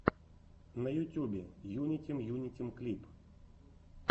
на ютюбе юнитим юнитим клип